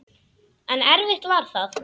En erfitt var það.